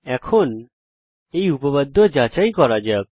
এখন উপপাদ্য যাচাই করা যাক